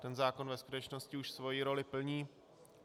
Ten zákon ve skutečnosti už svoji roli plní.